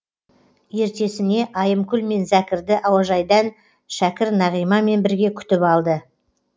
ертесіне айымкүл мен зәкірді әуежайдан шәкір нағимамен бірге күтіп алды